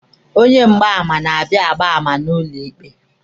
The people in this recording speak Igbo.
Onye mgbaàmà na-abịa agba àmà n'ụlọ ikpe.